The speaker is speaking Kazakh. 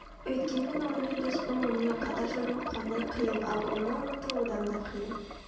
Өйткенмен онымен дос болу онымен қатар жүру қандай қиын ал оны ұмыту одан да қиын